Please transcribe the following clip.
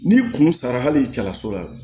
N'i kun sara hali cala so la